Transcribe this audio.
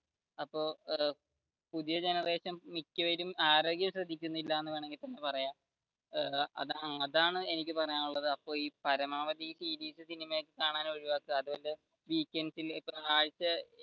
അപ്പൊ പുതിയ generation മിക്യവരും ആരോഗ്യം ശ്രദ്ധിക്കുന്നില്ല എന്ന് വേണമെങ്കിൽ തന്നെ പറയാം അതാണ് എനിക്ക് പറയാനുള്ളത് പരമാവധി സീരീസ്, സിനിമ കാണൽ ഒക്കെ ഒഴിവാക്കുക